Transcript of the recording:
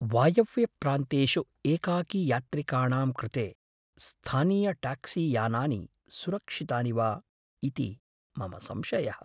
वायव्यप्रान्तेषु एकाकीयात्रिकाणां कृते स्थानीयट्याक्सीयानानि सुरक्षितानि वा इति मम संशयः।